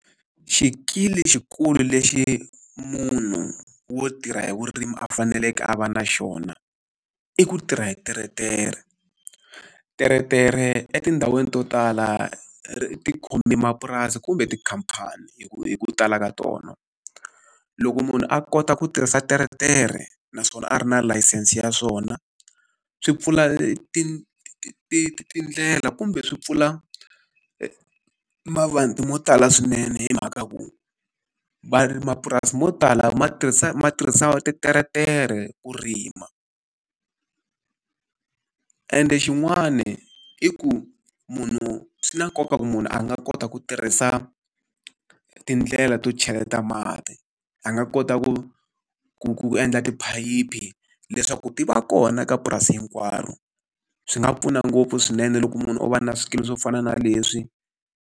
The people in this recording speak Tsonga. Xikili xikulu lexi munhu wo tirha hi vurimi a faneleke a va na xona, i ku tirha hi teretere. Teretere etindhawini to tala ti khomi mapurasi kumbe tikhamphani hi ku hi ku tala ka tona. Loko munhu a kota ku tirhisa teretere naswona a ri na layisense ya swona, swi pfula tindlela kumbe swi pfula mavanti mo tala swinene hi mhaka ku mapurasi mo tala ma tirhisa ma tirhisa titeretere ku rima ende xin'wani i ku munhu swi na nkoka ku munhu a nga kota ku tirhisa tindlela to cheleta mati, a nga kota ku ku ku endla tiphayiphi leswaku ti va kona ka purasi hinkwaro. Swi nga pfuna ngopfu swinene loko munhu o va na swikili swo fana na leswi.